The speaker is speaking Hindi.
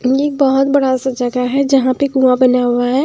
ये एक बहुत बड़ा सा जगह है जहाँ पे कुआं बना हुआ है।